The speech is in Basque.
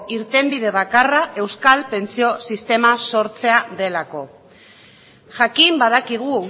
irtenbide bakarra euskal pentsio sistema sortzea delako jakin badakigu